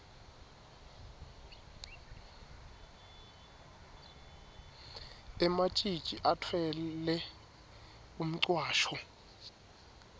ematjitji atfwele umcwasho